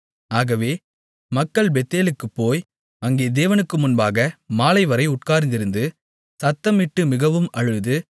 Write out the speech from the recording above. ஆகவே மக்கள் பெத்தேலுக்குப்போய் அங்கே தேவனுக்கு முன்பாக மாலைவரை உட்கார்ந்திருந்து சத்தமிட்டு மிகவும் அழுது